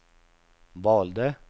valde